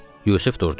Yusif durdu.